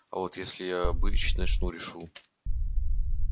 а вот если я бычить начну решу